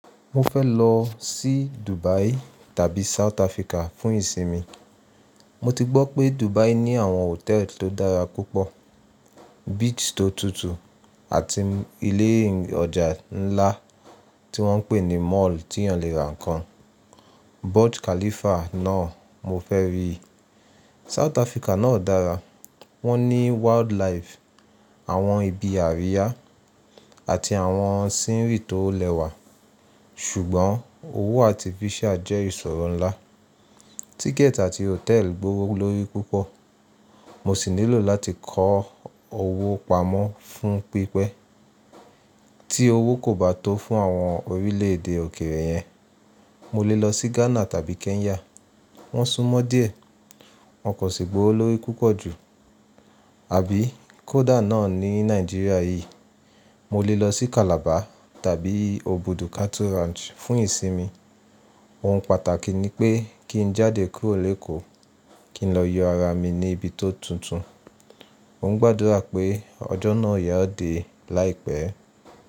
Mo fẹ́ lọ sí Dubai tàbí South Africa fún ìsinmi. Mo ti gbọ́ pé Dubai ní àwọn hòtẹ́ẹ́lì tó dára púpọ̀, beach tó tutù àti ilé ọjà ńlá tí wọ́n ń pè ní mall tí ẹni lè ra nǹkan. Burj Khalifa náà mo fẹ́ rí. South Africa náà dára, wọ́n ní wildlife, àwọn ibi àríyá àti àwọn scenery tó lẹ́wà. Ṣùgbọ́n owó artificial jẹ́ ìṣòro ńlá. Ticket àti hotel gbowó lórí púpọ̀. Mo sì nílò láti kọ owó pamọ́ fún pípẹ́. Tí owó kò bá tó fún àwọn orílẹ̀ èdè òkèèrè yẹn, mo lè lọ sí Ghana tàbí Kenya. Wọ́n súnmọ́ díẹ̀, wọn kò sì gbowó lórí púpọ̀ jù. Àbí Koda náà ní Nàìjíríà yìí, mo lè lọ sí Calabar tàbí Obudu Cattle Ranch fún ìsinmi. Ohun pàtàkì ni pé kí n jáde kúrò lékòó, kí n lọ yọ ara mi ní ibi tó tuntun. Mo ń gbàdúrà pé ọjọ́ náà yóò dé láìpẹ́.